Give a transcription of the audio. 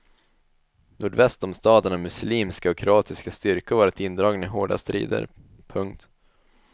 Nordväst om staden har muslimska och kroatiska styrkor varit indragna i hårda strider. punkt